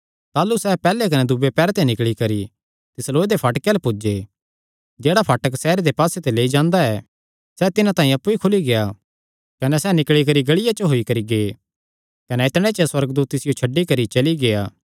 ताह़लू सैह़ पैहल्ले कने दूये पैहरे ते निकल़ी करी तिस लोहे दे फाटके अल्ल पुज्जे जेह्ड़ा फाटक सैहरे दे पास्सेयो लेई जांदा ऐ सैह़ तिन्हां तांई अप्पु ई खुली गेआ कने सैह़ निकल़ी करी गल़िया च होई करी गै कने इतणे च सुअर्गदूत तिसियो छड्डी करी चली गेआ